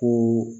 Ko